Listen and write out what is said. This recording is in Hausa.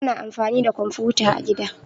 Ana amfani da komfuta a gida